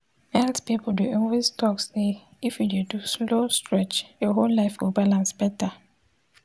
health people dey always talk say if you dey do slow stretch your whole life go balance better.